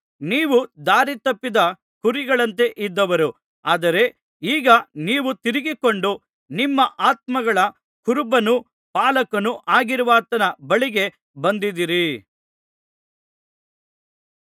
ನೀವು ದಾರಿತಪ್ಪಿದ ಕುರಿಗಳಂತೆ ಇದ್ದವರು ಆದರೆ ಈಗ ನೀವು ತಿರುಗಿಕೊಂಡು ನಿಮ್ಮ ಆತ್ಮಗಳ ಕುರುಬನೂ ಪಾಲಕನೂ ಆಗಿರುವಾತನ ಬಳಿಗೆ ಬಂದಿದ್ದೀರಿ